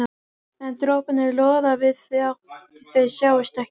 En droparnir loða við þótt þeir sjáist ekki.